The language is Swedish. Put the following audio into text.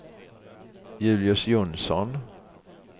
Julius Jonsson